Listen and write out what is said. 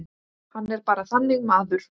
Hann er bara þannig maður.